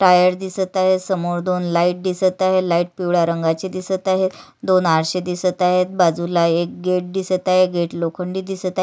Tyre दिसत आहे समोर दोन लाइट दिसत आहे लाइट पिवळ्या रंगाचे दिसत आहे दोन आरसे दिसत आहेत बाजूला एक गेट दिसत आहे गेट लोखंडी दिसत आहे.